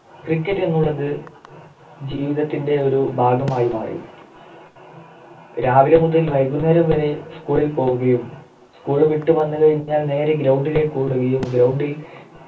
Cricket എന്നുള്ളത് ജീവിതത്തിൻ്റെ ഒരു ഭാഗമായി മാറി വൈകുന്നേരം വരെ School ൽ പോകുകയും School വിട്ടു വന്നു കഴിഞ്ഞാൽ നേരെ Ground ലേക്ക് ഓടുകയും Ground ൽ